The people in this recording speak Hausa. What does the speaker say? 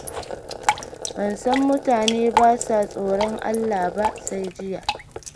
Ban san mutane ba sa tsoron Allah ba sai jiya.